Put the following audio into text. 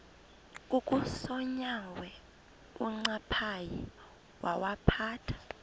kukasonyangwe uncaphayi wawaphatha